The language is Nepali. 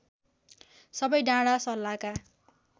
सबै डाँडा सल्लाका